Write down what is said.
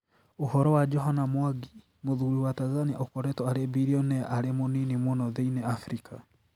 Ũhoro wa johana mwangi mũthuri wa Tanzania ũkoretwo arĩ birionea arĩ mũnini mũno thĩinĩ Afrika